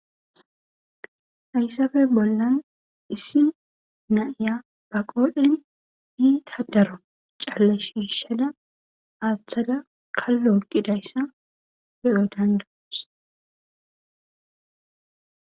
Hayssabe bollan issi naiya ba qoodhen iita daro callashishada aaththada kallo oqidayssa be'o dandawus.